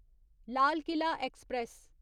Lal Qila express